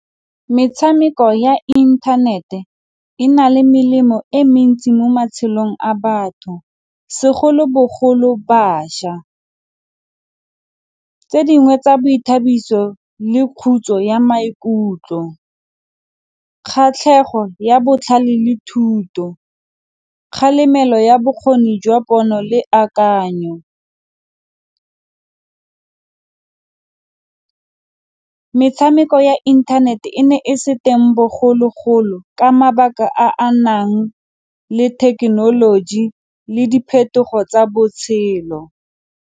Metshameko ya inthanete e na le melemo e mentsi mo matshelong a batho segolobogolo bašwa. Tse dingwe tsa boithabiso le khutso ya maikutlo, kgatlhego ya botlhale le thuto, kgalemelo ya bokgoni jwa pono le akanyo. Metshameko ya intanete e ne e se teng bogologolo ka mabaka a a nang le thekenoloji le diphetogo tsa botshelo.